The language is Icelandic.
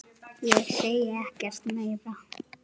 Ég segi ekkert meira.